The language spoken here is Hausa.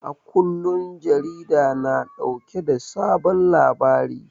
A kullum jarida na dauke da sabon labari